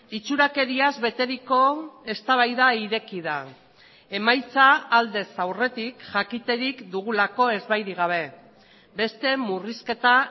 itxurakeriaz beteriko eztabaida ireki da emaitza aldez aurretik jakiterik dugulako ezbairik gabe beste murrizketa